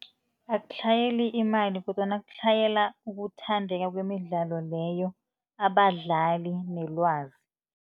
Akutlhayeli imali kodwana kutlhayela ukuthandeka kwemidlalo leyo, abadlali nelwazi.